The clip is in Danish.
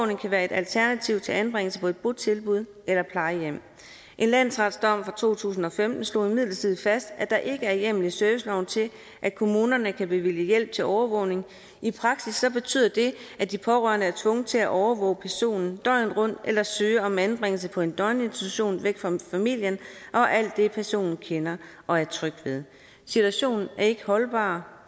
kan være et alternativ til anbringelse på et botilbud eller plejehjem en landsretsdom fra to tusind og femten slog imidlertid fast at der ikke er hjemmel i serviceloven til at kommunerne kan bevilge hjælp til overvågning i praksis betyder det at de pårørende er tvunget til at overvåge personen døgnet rundt eller søge om anbringelse på en døgninstitution væk fra familien og alt det personen kender og er tryg ved situationen er ikke holdbar